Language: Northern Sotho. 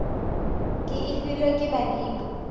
ke e filwe ke badimo